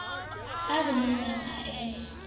e re nengneng a eme